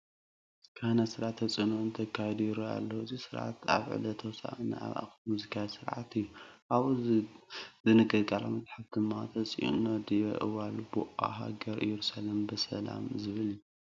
ካህናት ስርዓተ ተፅኢኖ እንተካይዱ ይርአዩ ኣለዉ፡፡ እዚ ስርዓት ኣብ ዕለት ሆሳእና ኣብ ኣኽሱም ዝካየድ ስርዓት እዩ፡፡ ኣብኡ ዝንገር ቃል መፅሓፍ ድማ "ተጽኢኖ ዲበ እዋል ቦአ ሃገረ ኢየሩሳሌም በሰላም" ዝብል እዩ፡፡